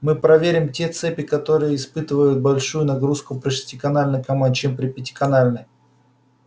мы проверим те цепи которые испытывают большую нагрузку при шестиканальной команде чем при пятиканальной